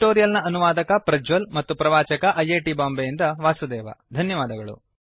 ಈ ಟ್ಯುಟೋರಿಯಲ್ ನ ಅನುವಾದಕ ಪ್ರಜ್ವಲ್ ಮತ್ತು ಪ್ರವಾಚಕ ಐಐಟಿ ಬಾಂಬೆಯಿಂದ ವಾಸುದೇವ ಧನ್ಯವಾದಗಳು